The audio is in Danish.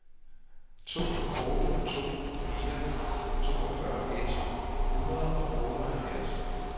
to otte to fire toogfyrre et hundrede og otteoghalvfems